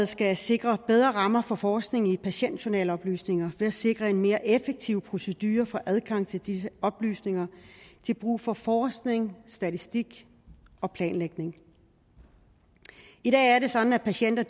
skal sikre bedre rammer for forskningen i patientjournaloplysninger ved at sikre en mere effektiv procedure for adgang til disse oplysninger til brug for forskning statistik og planlægning i dag er det sådan at patienter